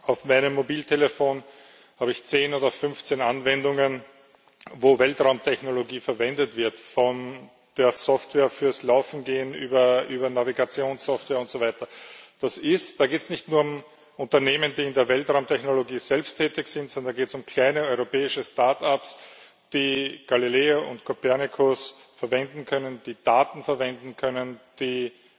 Auf meinem Mobiltelefon habe ich 10 oder 15 Anwendungen, wo Weltraumtechnologie verwendet wird, von der Software fürs Laufen über Navigationssoftware und so weiter. Da geht es nicht nur um Unternehmen, die in der Weltraumtechnologie selbst tätig sind, sondern es geht um kleine europäische Startups, die Galileo und Copernicus verwenden können, die Daten verwenden können, die,